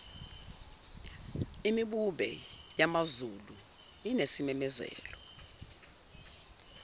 imbube yamazulu inesimemezelo